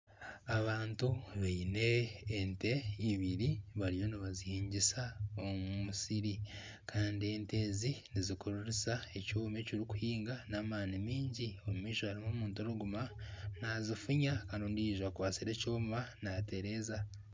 Abantu baine ente eibiri bariyo nibazihingisa omu musiri kandi ente ezi nizikurura ekyoma ekirikuhinga n'amaani maingi omumaisho harimu omuntu arikuguma nazifuunya kandi ondijo akwatsire ekyoma nateereza.